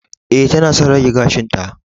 E, tana son rage gashinta